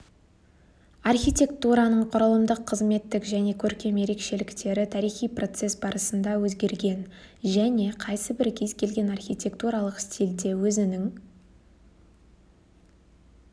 архитектураның құрылымдық қызметтік және көркем ерекшеліктері тарихи процесс барысында өзгерген және қайсы бір кез келген архитектуралық стильде өзінің